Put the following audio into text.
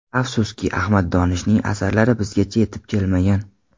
Afsuski, Ahmad Donishning asarlari bizgacha yetib kelmagan.